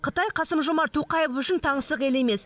қытай қасым жомарт тоқаев үшін таңсық ел емес